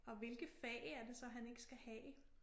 Og hvilke fag er det så han ikke skal have